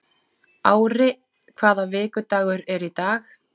Ári, hvaða vikudagur er í dag?